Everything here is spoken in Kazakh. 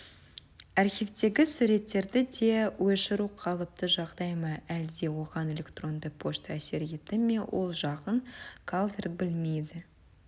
архивтегі суреттерді де өшіру қалыпты жағдай ма әлде оған электронды пошта әсер етті ме ол жағын калверт білмейді